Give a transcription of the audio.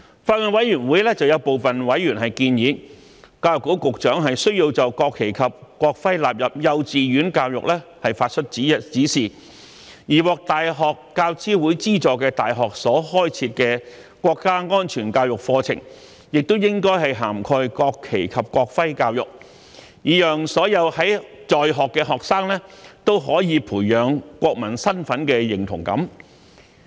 法案委員會有部分委員建議，教育局局長需要就將國旗及國徽納入幼稚園教育發出指示，而獲大學教育資助委員會資助的大學所開設的國家安全教育課程，亦應涵蓋國旗及國徽教育，以讓所有在學學生都可以培養國民身份認同感。